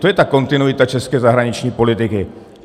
To je ta kontinuita české zahraniční politiky.